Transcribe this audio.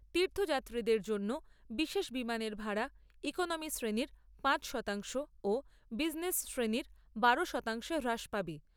তীর্থযাত্রীদের জন্য বিশেষ বিমানের ভাড়া ইকনমি শ্রেণীর পাঁচ শতাংশ ও বিজনেস শ্রেণীর বারো শতাংশে হ্রাস পাবে।